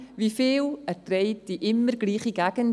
Wie viel erträgt die immer gleiche Gegend?